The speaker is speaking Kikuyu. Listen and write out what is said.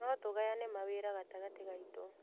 No tũgayane mawĩra gatagatĩ gaitũ.